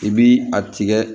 I bi a tigɛ